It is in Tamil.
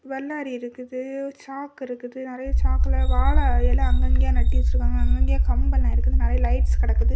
வல்லாரி இருக்குது சாக்கு இருக்குது நிறைய சாக்குல வாழையிலை அங்கங்கய நட்டி வச்சிருக்காங்க அங்கங்கய கம்பம் இருக்குது நெறைய லைட்ஸ் கடக்குது.